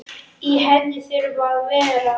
Í henni þurfa að vera